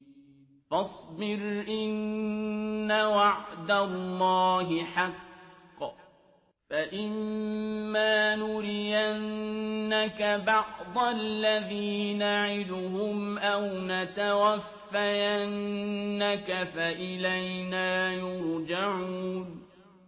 فَاصْبِرْ إِنَّ وَعْدَ اللَّهِ حَقٌّ ۚ فَإِمَّا نُرِيَنَّكَ بَعْضَ الَّذِي نَعِدُهُمْ أَوْ نَتَوَفَّيَنَّكَ فَإِلَيْنَا يُرْجَعُونَ